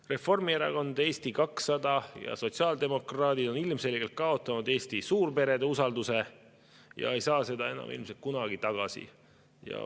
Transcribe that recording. Reformierakond, Eesti 200 ja sotsiaaldemokraadid on ilmselgelt kaotanud Eesti suurperede usalduse ega saa seda ilmselt enam kunagi tagasi.